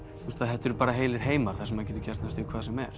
þetta eru heilir heimar þar sem maður getur gert næstum því hvað sem er